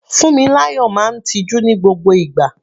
Funmilayo máa ń tiju ní gbogbo ìgbà.